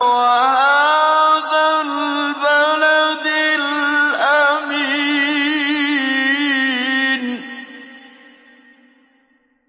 وَهَٰذَا الْبَلَدِ الْأَمِينِ